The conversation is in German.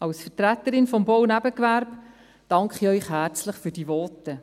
Als Vertreterin des Bau-Nebengewerbes danke ich Ihnen herzlich für diese Voten.